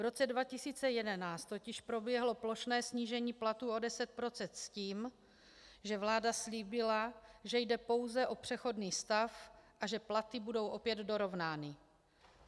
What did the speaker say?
V roce 2011 totiž proběhlo plošné snížení platů o 10 % s tím, že vláda slíbila, že jde pouze o přechodný stav a že platy budou opět dorovnány.